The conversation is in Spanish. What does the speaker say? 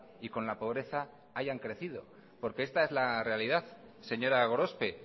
y con la pobreza hayan crecido porque esta es realidad señora gorospe